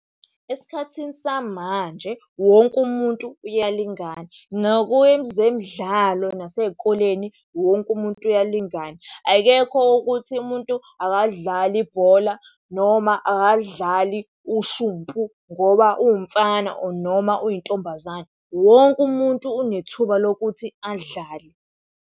Esikhathini samanje wonke umuntu uyalingana, nakwezemidlalo nasey'koleni wonke umuntu uyalingana. Akekho ukuthi umuntu akalidlali ibhola, noma akalidlali ushumpu ngoba uwumfana or noma uyintombazane. Wonke umuntu unethuba lokuthi adlale.